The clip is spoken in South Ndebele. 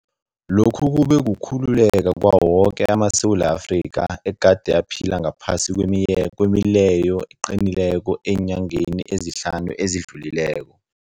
Lokhu kube kukhululeka kwawo woke amaSewula Afrika egade aphila ngaphasi kwemileyo eqinileko eenyangeni ezihlanu ezidlulileko.